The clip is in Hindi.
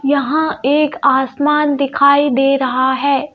यहां एक आसमान दिखाई दे रहा है.